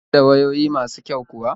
Yana siyar da wayoyi masu kyau kuwa?